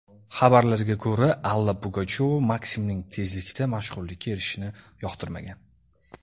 Xabarlarga ko‘ra, Alla Pugachyova Maksimning tezlikda mashhurlikka erishishini yoqtirmagan.